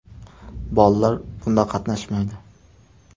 Bolalar bunda qatnashmaydi.